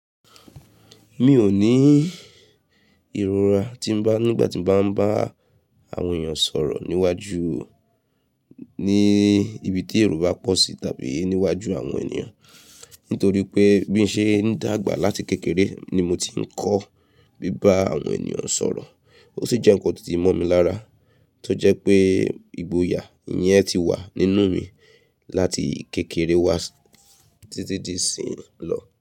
Mi ò ní ìrora tí ń bá, nígbà tí ń bá ń bá àwọn èèyàn sọ̀rọ̀ níwájú, ní ibi tí èrò bá pọ̀ sí tàbí níwájú àwọn ènìyàn. Nítorí pé bí ń ṣe ń dàgbà láti kékeré ni mo ti ń kọ́ bí bá àwọn ènìyàn sọ̀rọ̀. Ó sì jẹ́ nkan tó ti mọ́ mi lára, tó jẹ́ pé ìgboyà ìyẹn ti wà nínú mi láti kékeré wá títí di ìsìn lọ.